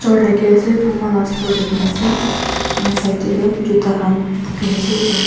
ghor thaki ase puma laga store dikhi ase side te toh juta khan bukhi na ase--